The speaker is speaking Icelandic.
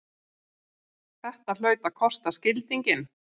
Þetta hlaut að kosta skildinginn!